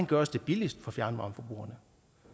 gøres det billigst for fjernvarmeforbrugerne